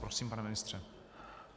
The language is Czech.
Prosím, pane ministře.